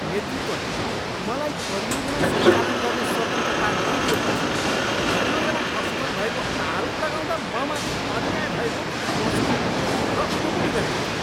नेतृत्वले मलाई परियोजना सञ्चालन गर्ने स्वतन्त्रता नदिएपछि परियोजना असफल भएको आरोप लगाउँदा म माथि अन्याय भएको महसुस भयो र उम्लिरहेको थिएँ।